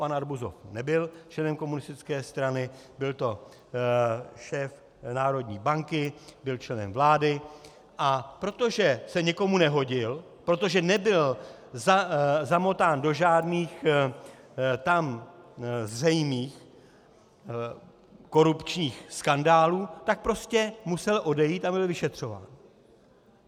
Pan Arbuzov nebyl členem komunistické strany, byl to šéf Národní banky, byl členem vlády, a protože se někomu nehodil, protože nebyl zamotán do žádných tam zřejmých korupčních skandálů, tak prostě musel odejít a byl vyšetřován.